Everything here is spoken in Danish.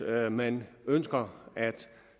at man ønsker at